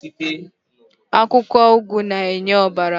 Akwụkwọ ụgụ na-enye ọbara.